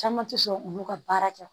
Caman tɛ sɔn olu ka baara kɛ